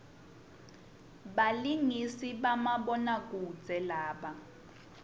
balingisi bamabona kudze laba